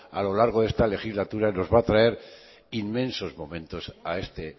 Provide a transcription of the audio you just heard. a lo largo de esta legislatura nos va a traer inmensos momentos a este